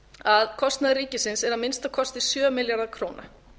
að kostnaður ríkisins er að minnsta kosti sjö milljarðar króna